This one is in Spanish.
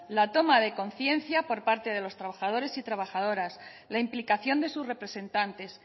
la toma de conciencia por parte de los trabajadores y trabajadoras la implicación de sus representantes